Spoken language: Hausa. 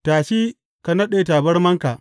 Tashi ka naɗe tabarmarka.